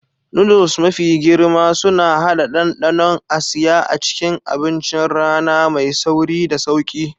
Noodles mafi girma suna haɗa ɗanɗanon Asiya a cikin abincin rana mai sauri da sauƙi.